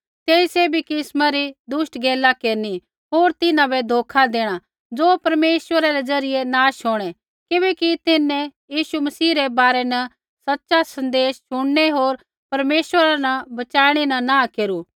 तेई सैभी किस्मा री दुष्ट गैला केरनी होर तिन्हां बै धोखा देणा ज़ो परमेश्वरा रै ज़रियै नाश होंणै किबैकि तिन्हैं यीशु मसीह रै बारै न सच़ा सन्देश शुणनै होर परमेश्वरा न बच़ाइणै न नाँह केरू